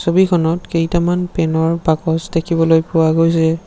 ছবিখনত কেইটামান পেনৰ বাকচ দেখিবলৈ পোৱা গৈছে।